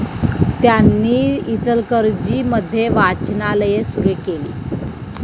त्यांनी इचलकरंजी मध्ये वाचनालये सुरु केली.